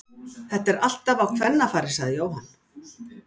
Þetta er alltaf á kvennafari sagði Jóhann.